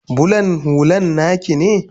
bulan hullan naki ne?